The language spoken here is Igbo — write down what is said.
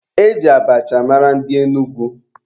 E ji abacha mara ndị Enugwu.